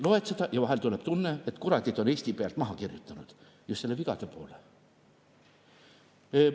Loed seda ja vahel tuleb tunne, et nad kuradid on Eesti pealt maha kirjutanud, just selle vigade poole.